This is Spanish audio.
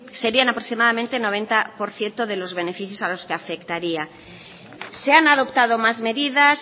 serían aproximadamente noventa por ciento de los beneficios a los que afectaría se han adoptado más medidas